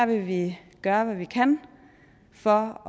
vil vi gøre hvad vi kan for